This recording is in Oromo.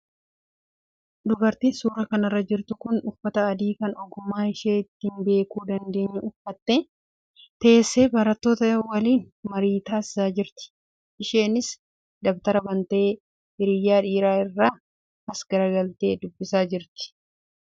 Dubartiin suuraa kanarra jirtu kun uffata adii kan ogummaa ishee ittiin beekuu dandeenyu uffattee teessee barattoota waliin marii taasisaa jirti. Isheenis dabtara bantee hiriyaa dhiiraa irraa as garagaltee dubbisaa jirti.